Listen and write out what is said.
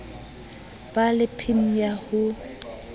ba le pin ya ho